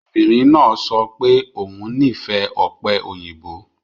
Obìnrin náà sọ pé òun nífẹ̀ẹ́ ope oyinbo